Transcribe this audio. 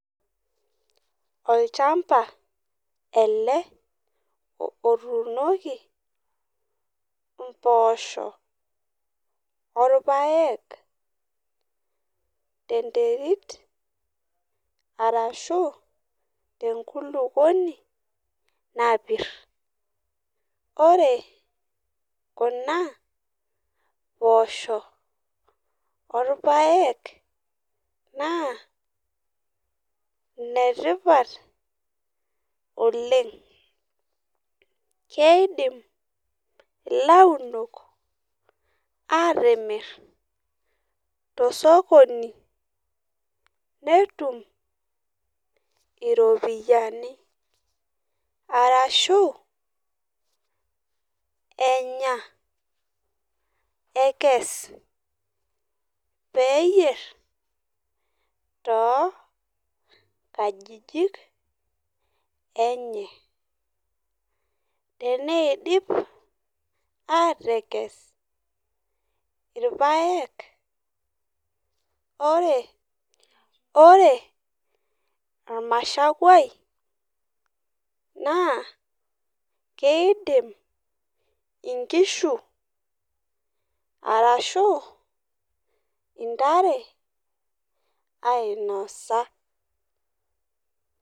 olchamba ele otunoki emboshok orpaek tee nterit arashu tenkulukuoni napir ore Kuna poshok orpaek naa enetipat oleng keifim elau ok atimir too sokoni netum eropiani arashu Enya ekes pee eyier too nkajijik enye tenidip atekes irpaek ore ormashakuai naa kidim enkishu arashu entare ainosa